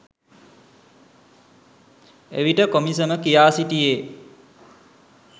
එවිට කොමිසම කියා සිටියේ